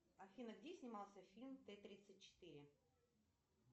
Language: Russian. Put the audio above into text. афина где снимался фильм т тридцать четыре